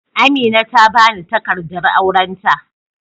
Amina ta bani takardar aurenta.